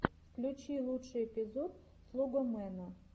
включи лучший эпизод слогомэна